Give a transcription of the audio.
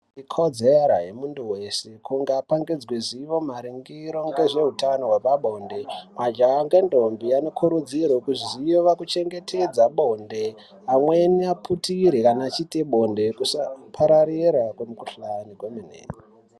Ikodzero yemunthu wese kuti apangidzwe zivo maringe hwezveutano hwepabonde, majaha ngendombi anokurudzirwe kuziva kuchengetedza bonde amweni aputire kana echiite bonde, kusapararira kwemikuhlani kwemene.